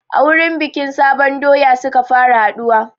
A wurin bikin sabon doya suka fara haɗuwa